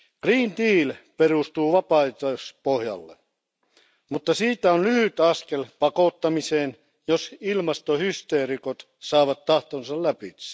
Green Deal perustuu vapaaehtoispohjalle, mutta siitä on lyhyt askel pakottamiseen, jos ilmastohysteerikot saavat tahtonsa läpi.